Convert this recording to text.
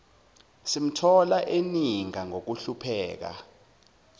simthola eninga ngokuhlupheka